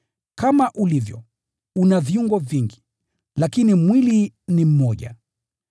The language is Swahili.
Kama ulivyo, una viungo vingi, lakini mwili ni mmoja.